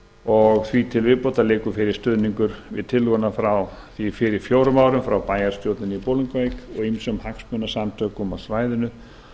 og því til viðbótar liggur fyrir stuðningur við tillöguna frá því fyrir fjórum árum frá bæjarstjórninni í bolungarvík og ýmsum hagsmunasamtökum á svæðinu